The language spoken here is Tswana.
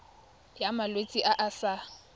ya malwetse a a sa